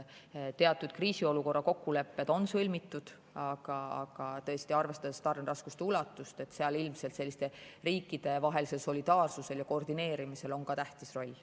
Teatud kriisiolukorra kokkulepped on sõlmitud, aga tõesti, arvestades tarneraskuste ulatust, on sellisel riikidevahelisel solidaarsusel ja koordineerimisel ka tähtis roll.